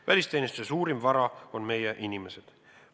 Välisteenistuse suurim vara on meie inimesed.